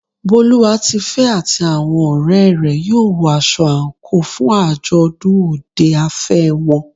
Boluwatife àti àwọn ọ̀rẹ́ rẹ̀ yóò wọ aṣọ àǹkóò fún àjọ̀dún òde afẹ́ wọn.